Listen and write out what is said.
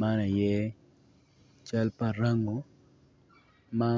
man aye cal pa rangu ma